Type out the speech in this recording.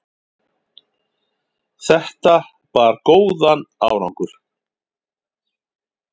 þetta bar góðan árangur